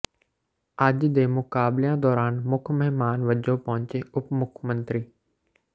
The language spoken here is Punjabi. ਅੱਜ ਦੇ ਮੁਕਾਬਲਿਆਂ ਦੌਰਾਨ ਮੁੱਖ ਮਹਿਮਾਨ ਵਜੋਂ ਪਹੁੰਚੇ ਉਪ ਮੁੱਖ ਮੰਤਰੀ ਸ